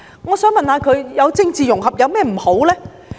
"我想問問他們，政治融合有何不妥呢？